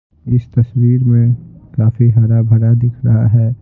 इस तस्वीर में काफी हरा भरा दिख रहा है।